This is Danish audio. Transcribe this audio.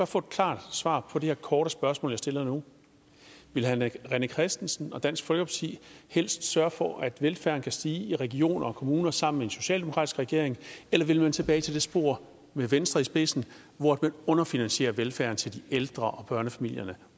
få et klart svar på det her korte spørgsmål jeg stiller nu vil herre rené christensen og dansk folkeparti helst sørge for at velfærden kan stige i regioner og kommuner sammen med en socialdemokratisk regering eller vil man tilbage til det spor med venstre i spidsen hvor man underfinansierer velfærden til de ældre og børnefamilierne